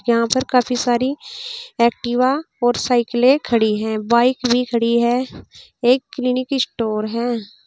यहां पर काफी सारी एक्टिवा और साइकिलें खड़ी हैं बाइक भी खड़ी है एक क्लीनिक स्टोर है।